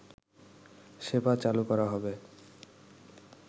সেবা চালু করা হবে